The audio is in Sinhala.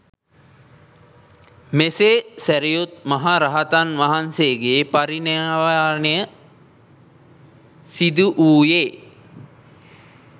මෙසේ සැරියුත් මහ රහතන් වහන්සේගේ පරිනිර්වාණය සිදුවූයේ